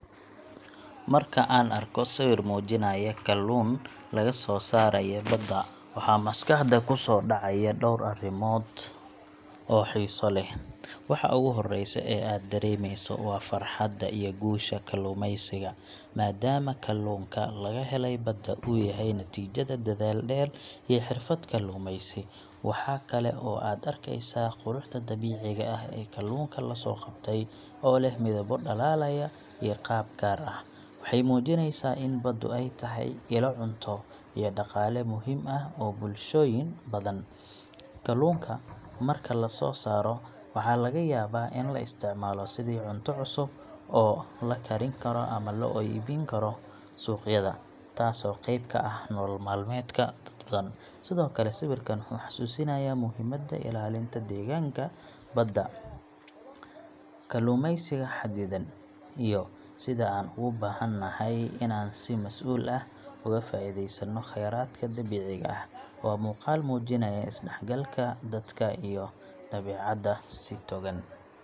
Marka aan arko sawir muujinaya kalluun laga soo saaray badda, waxaa maskaxda ku soo dhacaya dhowr arrimood oo xiiso leh. Waxa ugu horreeya ee aad dareemeyso waa farxadda iyo guusha kalluumeysiga, maadaama kalluunka laga helay badda uu yahay natiijada dadaal dheer iyo xirfad kalluumaysi. Waxa kale oo aad arkeysaa quruxda dabiiciga ah ee kalluunka la soo qabtay, oo leh midabbo dhalaalaya iyo qaab gaar ah. Waxay muujineysaa in baddu ay tahay ilo cunto iyo dhaqaale muhiim ah u ah bulshooyin badan. Kalluunka marka la soo saaro waxaa laga yaabaa in la isticmaalo sidii cunto cusub oo la karin karo ama loo iibin karo suuqyada, taasoo qeyb ka ah nolol maalmeedka dad badan. Sidoo kale, sawirkan wuxuu xasuusinayaa muhiimadda ilaalinta deegaanka badda, kalluumeysiga xadidan, iyo sida aan u baahanahay inaan si masuul ah uga faa’iideysanno kheyraadka dabiiciga ah. Waa muuqaal muujinaya is-dhexgalka dadka iyo dabiicadda si togan.